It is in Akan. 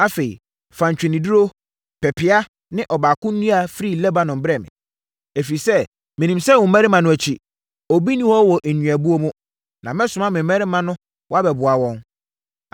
“Afei, fa ntweneduro, pepeaa ne ɔbako nnua firi Lebanon brɛ me, ɛfiri sɛ, menim sɛ wo mmarima no akyi, obi nni hɔ wɔ nnuabuo mu, na mɛsoma me mmarima na wɔabɛboa wɔn.